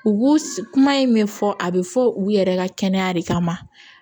U kuma in min fɔ a bɛ fɔ u yɛrɛ ka kɛnɛya de kama